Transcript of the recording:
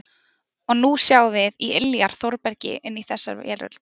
Og nú sjáum við í iljar Þórbergi inn í þessa veröld.